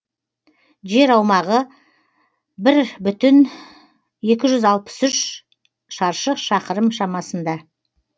жер аумағы бір бүтін екі жүз алпыс үш шаршы шақырым шамасында